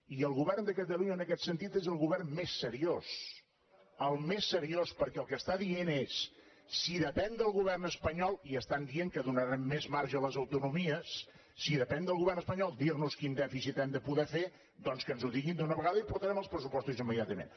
i el govern de catalunya en aquest sentit és el govern més seriós el més seriós perquè el que diu és si depèn del govern espanyol i estan dient que donaran més marge a les autonomies si depèn del govern espanyol dir nos quin dèficit hem de poder fer doncs que ens ho diguin d’una vegada i portarem els pressupostos immediatament